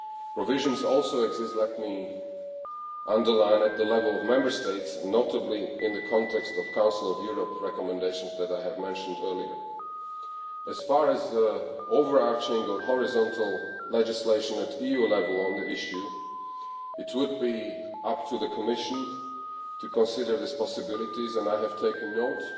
Provisions also exist, let me underline, at the level of Member States and notably in the context of the Council of Europe recommendation that I have mentioned earlier. As far as overarching or horizontal legislation at EU level on the issue is concerned, it would be up to the Commission to consider the possibilities, and I have taken note